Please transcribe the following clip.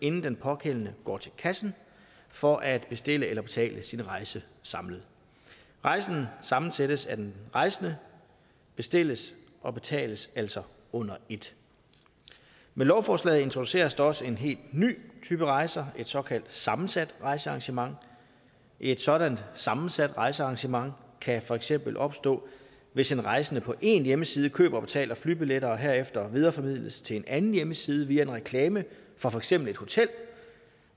inden den pågældende går til kassen for at bestille eller betale sin rejse samlet rejsen sammensættes af den rejsende og bestilles og betales altså under et med lovforslaget introduceres også en helt ny type rejser et såkaldt sammensat rejsearrangement et sådant sammensat rejsearrangement kan for eksempel opstå hvis en rejsende på en hjemmeside køber og betaler flybilletter og herefter videreformidles til en anden hjemmeside via en reklame fra for eksempel et hotel